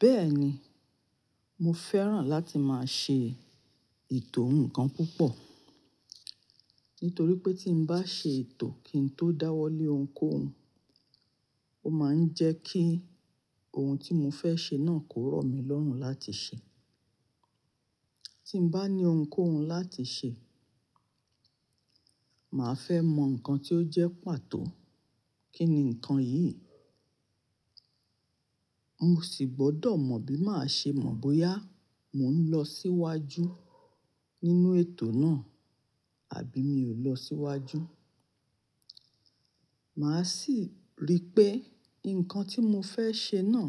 Bẹ́ẹ̀ni, mo fẹ́ràn láti máa ṣe ètò ǹkan púpọ̀. Nítorí pé tí mo bá ṣe ètò kí n tó dáwọ́ lé ohunkóhun, ó máa ń jẹ́ kí ohun tí mo fẹ́ ṣe náà kó rọ̀ mí lọ́rùn láti ṣe. Tí n bá ní ohunkóhun láti ṣe, màá fẹ́ mọ nǹkan tí ó jẹ́ pàtó. Kí ni nǹkan yìí? Mo sì gbọ́dọ̀ mọ bí màá ṣe mọ̀ bóyá mò ń lọ síwájú nínú ètò náà àbí mi ò lọ síwájú. Màá sì rí pé nǹkan tí mo fẹ́ ṣe náà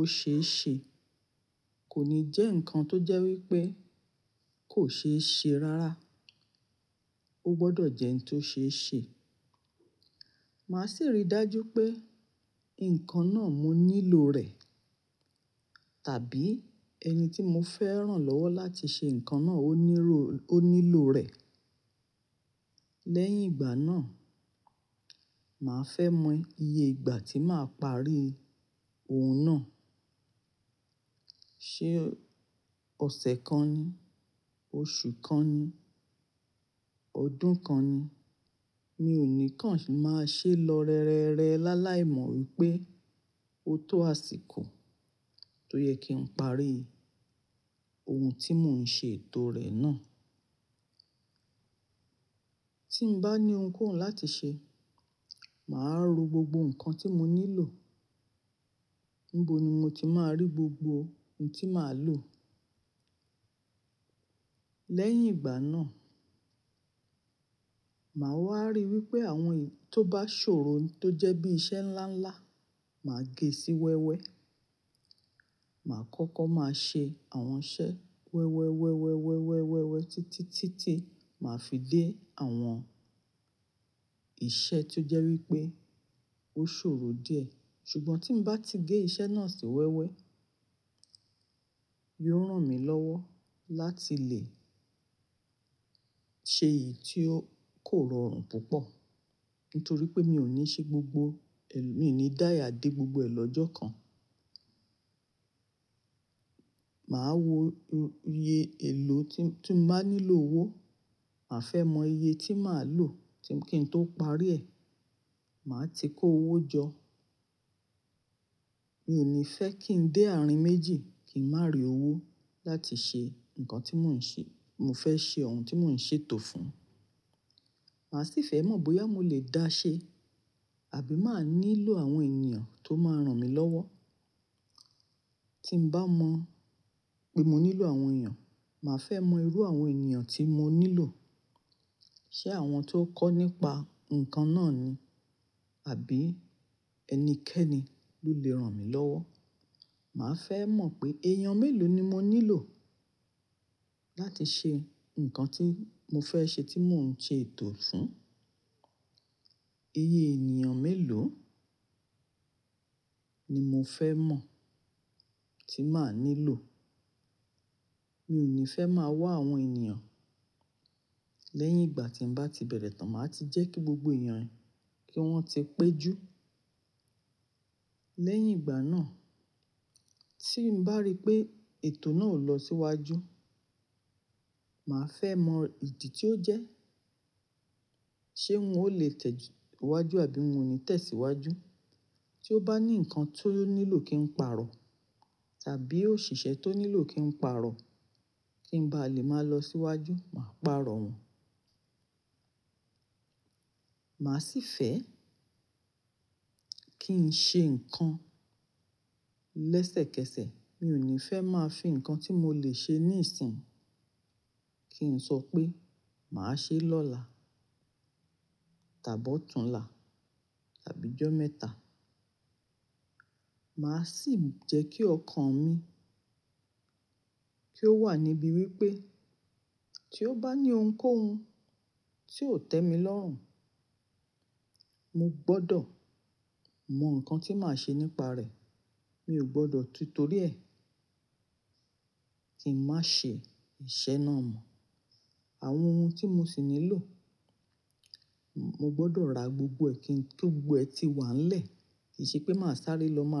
ó ṣe é ṣe. Kò ní jẹ́ nǹkan tó jẹ́ wípé kò ṣe é ṣe rárá. Ó gbọ́dọ̀ jẹ́ ǹ tó ṣe é ṣe. Màá sì rí dájú pé nǹkan náà mo nílò rẹ̀ tàbí ẹni tí mo fẹ́ràn lọ́wọ́ láti ṣe nǹkan náà ó nílò rẹ̀. Lẹ́yìn ìgbà náà, màá fẹ́ mọ iye ìgbà tí màá parí ohun náà. Ṣé ọ̀sẹ̀ kan ni, oṣù kan ni, ọdún kan ni? Mi ò ní kàn ṣì máa ṣe lọ rere láláìmọ̀ wípé o ó tó àsìkò tó yẹ kí n parí ohun tí mò ń ṣe ètò rẹ̀ náà. Tí mo bá ní ohunkóhun láti ṣe, màá ro gbogbo nǹkan tí mo nílò. Níbo ni mo ti máa rí gbogbo ohun tí màá lò? Lẹ́yìn ìgbà náà, màá wá rí wípé àwọn tó bá ṣòro tó jẹ́ bí iṣẹ́ ńlá ńlá, màá gé e sí wẹ́wẹ́. Màá kọ́kọ́ máa ṣe àwọn iṣẹ́ wẹ́wẹ́, wẹ́wẹ́, wẹ́wẹ́, wẹ́wẹ́, títí, títí, màá fi dé àwọn iṣẹ́ tó jẹ́ wípé ó ṣòro díẹ̀. Ṣùgbọ́n tí mo bá ti gé iṣẹ́ náà sí wẹ́wẹ́, yóò ràn mí lọ́wọ́ láti lè ṣe èyí tí ó kò rọrùn púpọ̀. Nítorí pé mi ò ní ṣe gbogbo, mi ò ní dáya dé gbogbo ẹ̀ lọ́jọ́ kan. Màá wo iye èlò tí n bá nílò owó. Màá fẹ́ mọ iye tí màá lò kí n tó parí rẹ̀. Màá ti kó owó jọ. Mi ò ní fẹ́ kí ń dé àárín méjì kí n má rí owó láti ṣe nǹkan tí mò ń ṣe, mo fẹ́ ṣe ohun tí mò ń ṣe ètò fún. Màá sì fẹ́ mọ̀ bóyá mo lè dáṣẹ àbí màá nílò àwọn ènìyàn tó máa ràn mí lọ́wọ́. Tí mo bá mọ pé mo nílò àwọn ènìyàn, màá fẹ́ mọ irú àwọn ènìyàn tí mo nílò. Ṣé àwọn tó kọ́ nípa nǹkan náà ni? Àbí ẹnikẹ́ni ló lè ràn mí lọ́wọ́? Màá fẹ́ mọ̀ pé èèyàn mélòó ni mo nílò láti ṣe nǹkan tí mo fẹ́ ṣe tí mò ń ṣe ètò fún. Iye ènìyàn mélòó ni mo fẹ́ mọ̀ tí màá nílò. Mi ò ní fẹ́ máa wá àwọn ènìyàn lẹ́yìn ìgbà tí mo bá ti bẹ̀rẹ̀ tán. Màá ti jẹ́ kí gbogbo ènìyàn, kí wọ́n ti pé jú. Lẹ́yìn ìgbà náà, tí mo bá rí pé ètò náà ò lọ síwájú, màá fẹ́ mọ ìdí tí ó jẹ́. Ṣé n ò lè tẹ̀síwájú àbí n ò ní tẹ̀síwájú? Tí ó bá ní nǹkan tó nílò kí n pàrọ̀ tàbí òṣìṣẹ́ tó nílò kí n pàrọ̀, ki n bá lè máa lọ síwájú, màá pàrọ̀ wọ́n. Màá sì fẹ́ kí n ṣe nǹkan lẹ́sẹ̀kẹsẹ̀. Mi ò ní fẹ́ máa fi nǹkan tí mo lè ṣe níìsín kí n sọ pé màá ṣe é lọ́la tàbí ọ̀túnla tàbí ọjọ́ mẹ́ta. Màá sì jẹ́ kí ọkàn mi kí ó wà níbí wípé tí ó bá ní ohunkóhun tí ò tẹ́ mi lọ́rùn, mo gbọ́dọ̀ mọ nǹkan tí màá ṣe nípa rẹ̀. Mi ò gbọ́dọ̀ ti torí ẹ kí ń má ṣe iṣẹ́ náà mọ̀. Àwọn ohun tí mo sì nílò, mo gbọ́dọ̀ ra gbogbo ẹ kí gbogbo ẹ ti wà nílẹ̀. Kì í ṣe pé màá sáré lọ màá lọ ma ra.